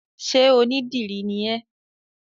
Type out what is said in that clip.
Sé onídìrí ni ẹ́?